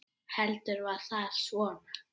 Heldur var það svona!